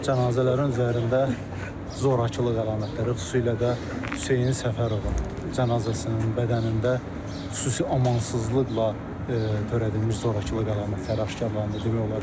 Cənazələrin üzərində zorakılıq əlamətləri, xüsusilə də Hüseyn Səfərovun cənazəsinin bədənində xüsusi amansızlıqla törədilmiş zorakılıq əlamətləri aşkarlandı.